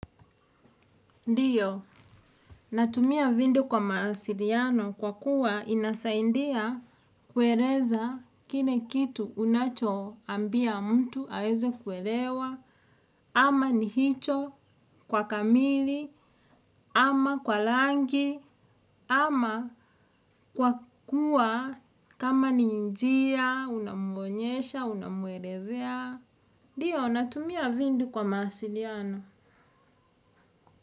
Ndio, natumia video kwa mawasiliano kwa kuwa inasaidia kueleza kile kitu unachoambia mtu aweze kuelewa ama ni hicho kwa kamili ama kwa rangi ama kwa kuwa kama ni njia unamwonyesha unamwelezea. Ndiyo, natumia vindu kwa maasiriano.